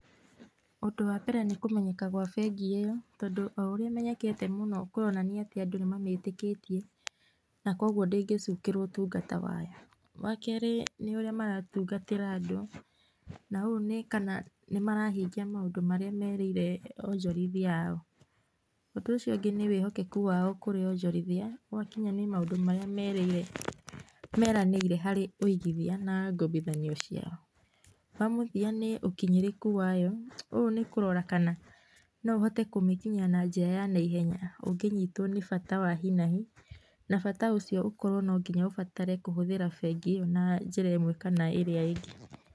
Ũndũ wa mbere nĩ kũmenyeka gwa bengi ĩyo, tondũ o ũrĩa ĩmenyekete mũno kũronania atĩ andũ nĩ mamĩtĩkĩtie na kwoguo ndĩngĩcukĩrwo ũtungata wayo. Wa kerĩ, nĩ ũrĩa maratungatĩra andũ, na ũũ nĩ kana nĩmarahingia maũndũ marĩa merĩire onjorithĩa ao. Ũndũ ũcio ũngĩ nĩ wĩhokeku wao kũrĩ onjorithĩa ao gwakinya nĩ maũndũ marĩa meranĩire harĩ ũigithia na ngombithanio ciao. Wa mũthia nĩ ũkinyĩrĩku wayo, ũũ nĩ kũrora kana no ũhote kũmĩkinyĩra na njĩra ya naihenya ũngĩnyitwo nĩbata wa hinahi na bata ũcio ũkorwo no nginya ũbatare kũhũthĩra bengi ĩo na njĩra ĩmwe kana ĩrĩa ĩngĩ.